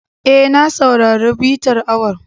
E, na saurari bitar awon.